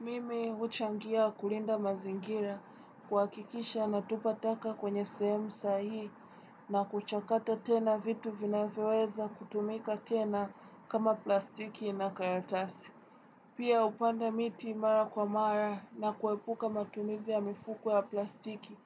Mimi uchangia kulinda mazingira kua kikisha na tupataka kwenye sehemu sahihi na kuchakata tena vitu vinavyoweza kutumika tena kama plastiki na karatasi. Pia upanda miti mara kwa mara na kuepuka matumizi ya mifuko ya plastiki